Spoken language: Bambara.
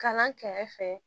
Kalan kɛrɛfɛ